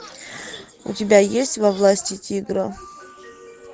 у тебя есть во власти тигра